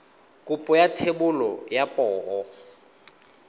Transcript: kopo ya thebolo ya poo